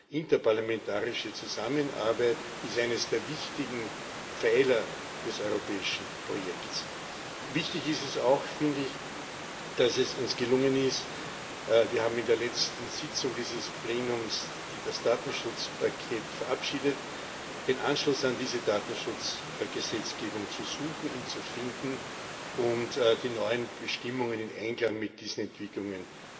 Die interparlamentarische Zusammenarbeit ist einer der wichtigen Pfeiler des europäischen Projekts. Wichtig ist es meiner Ansicht nach auch, dass es uns gelungen ist wir haben in der letzten Sitzung dieses Plenums, die das Datenschutzpaket verabschiedet den Anschluss an diese Datenschutzgesetzgebung zu suchen, ihn zu finden und die neuen Bestimmungen in Einklang mit diesen Entwicklungen